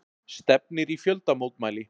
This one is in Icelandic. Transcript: Stefnir í fjöldamótmæli